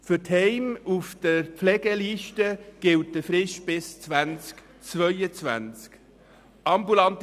Für die Heime auf der Pflegeliste gilt eine Frist bis 2022.